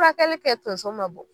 Furakɛli kɛ tonso ma bɔ